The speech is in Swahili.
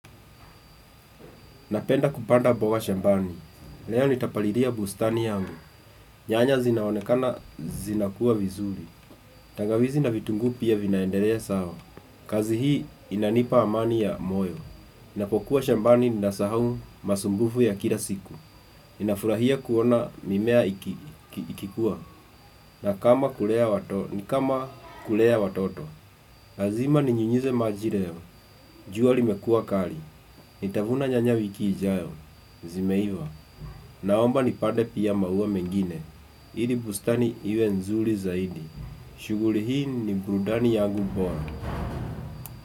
Napenda kupanda mboga shambani. Leo nitapalilia bustani yangu. Nyanya zinaonekana zinakuwa vizuri. Tangawizi na vitunguu pia vinaendelea sawa. Kazihii inanipa amani ya moyo. Ninapokuwa shambani nasahau masumbufu ya kila siku. Nafurahia kuona mimea ikikua. Ni kama kulea watoto. Lazima ni nyunyize majileo. Juali mekua kali. Nitavuna nyanya wiki ijayo. Zimeiva. Naomba nipande piamaua mengine. Ili bustani iwe nzuri zaidi. Shughuli hii ni burudani yangu bora.